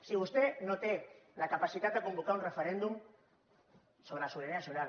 si vostè no té la capacitat de convocar un referèndum sobre la sobirania nacional